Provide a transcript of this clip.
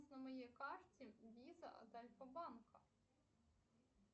на моей карте виза от альфа банка